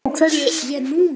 Af hverju ég núna?